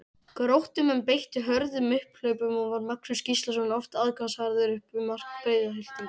Gróttumenn beittu hröðum upphlaupum og var Magnús Gíslason oft aðgangsharður upp við mark Breiðhyltinga.